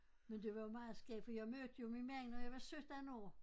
Men det var meget skægt for jeg mødte jo min mand da jeg var 17 år